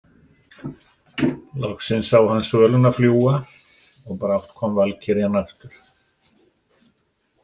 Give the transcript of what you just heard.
Loksins sá hann svöluna fljúga og brátt kom valkyrjan aftur.